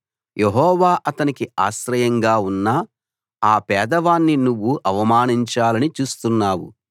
యెహోవా అతనికి ఆశ్రయంగా ఉన్నా ఆ పేదవాణ్ణి నువ్వు అవమానించాలని చూస్తున్నావు